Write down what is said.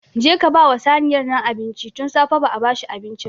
Je ka ba saniyar nan abinci! Tun safe ba a ba shi abinci ba.